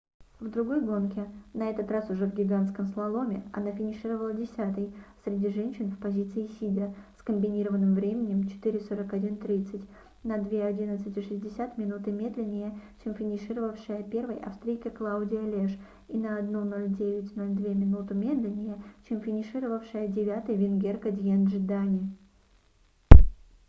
в другой гонке на этот раз уже в гигантском слаломе она финишировала десятой среди женщин в позиции сидя с комбинированным временем 4:41,30. на 2:11,60 минуты медленнее чем финишировавшая первой австрийка клаудия леш и на 1:09,02 минуту медленнее чем финишировавшая девятой венгерка дьенджи дани